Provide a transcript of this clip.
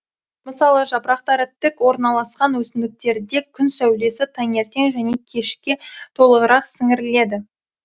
мысалы жапырақтары тік орналасқан өсімдіктерде күн сәулесі таңертең және кешке толығырақ сіңіріледі